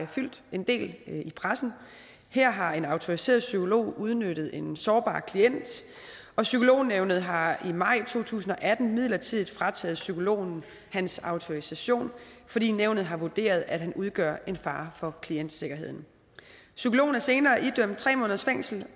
fyldt en del i pressen her har en autoriseret psykolog udnyttet en sårbar klient og psykolognævnet har i maj to tusind og atten midlertidig frataget psykologen hans autorisation fordi nævnet har vurderet at han udgør en fare for klientsikkerheden psykologen er senere idømt tre måneders fængsel